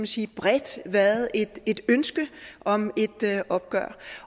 set bredt været et ønske om et opgør